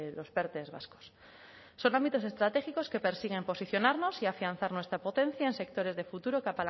los perte vascos son estratégicos que persiguen posicionarnos y afianzar nuestra potencia en sectores de futuro que